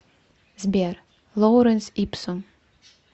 сбер лоуренс ипсум